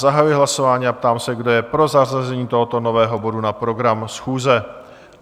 Zahajuji hlasování a ptám se, kdo je pro zařazení tohoto nového bodu na program schůze?